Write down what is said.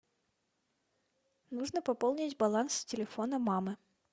нужно пополнить баланс телефона мамы